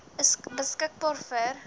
is beskikbaar vir